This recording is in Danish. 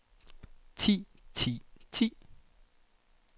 ti ti ti